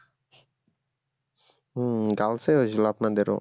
হুম্ girls এ হয়েছিল আপনাদেরও